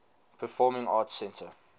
performing arts center